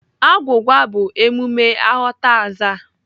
Agwụgwa bụ emume aghọtaaza.